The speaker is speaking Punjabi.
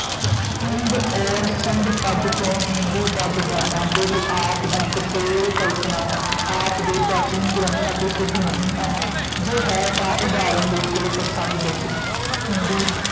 ਹਿੰਦ ਔਰ ਸਿੰਧ ਪਦ ਤੋਂ ਹਿੰਦੂ ਪਦ ਬਣਨਾ ਕੇਵਲ ਆਪ ਦੀ ਕਪੋਲ ਕਲਪਨਾ ਹੈ, ਆਪ ਦੇ ਪ੍ਰਾਚੀਨ ਗ੍ਰੰਥਾਂ ਤੋਂ ਸਿੱਧ ਨਹੀਂ ਹੈ ਜੇ ਹੈ ਤਾਂ ਉਦਾਹਰਣ ਲਈ ਕੋਈ ਪ੍ਰਸੰਗ ਦਸੋ, ਹਿੰਦੂ